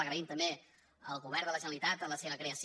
agraïm també al govern de la generalitat la seva creació